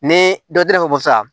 Ne dɔ yiri bɛ bɔ sisan